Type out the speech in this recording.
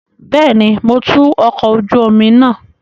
Bẹẹni, Mo tú ọkọ oju omi naa